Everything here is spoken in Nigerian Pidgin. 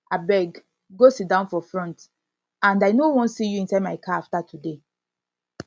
abeg go sit down for front and i no wan see you inside my car after today